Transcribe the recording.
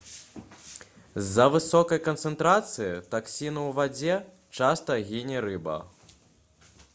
з-за высокай канцэнтрацыі таксіну ў вадзе часта гіне рыба